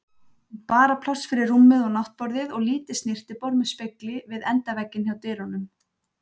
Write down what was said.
Bara pláss fyrir rúmið og náttborðið og lítið snyrtiborð með spegli við endavegginn hjá dyrunum.